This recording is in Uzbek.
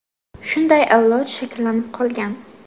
Shunday avlod shakllanib qolgan.